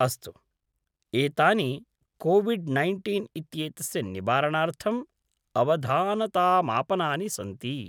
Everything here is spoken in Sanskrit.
अस्तु, एतानि कोविड् नैन्टीन् इत्येतस्य निवारणार्थं अवधानतामापनानि सन्ति।